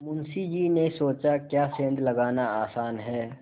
मुंशी जी ने सोचाक्या सेंध लगाना आसान है